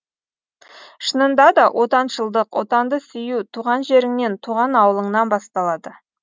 шынында да отаншылдық отанды сүю туған жеріңнен туған ауылыңнан басталады